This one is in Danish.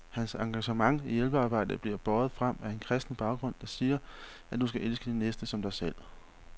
Hans engagement i hjælpearbejdet bliver båret frem af en kristen baggrund, der siger, at du skal elske din næste som dig selv.